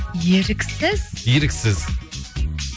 еріксіз еріксіз